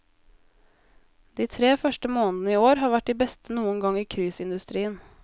De tre første månedene i år har vært de beste noen gang i cruiseindustrien.